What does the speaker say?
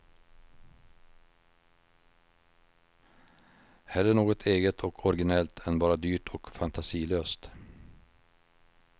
Hellre något eget och originellt än bara dyrt och fantasilöst.